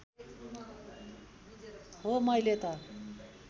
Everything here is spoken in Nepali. हो मैले त